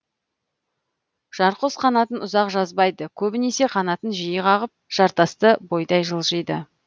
жарқұс қанатын ұзақ жазбайды көбінесе қанатын жиі қағып жартасты бойдай жылжиды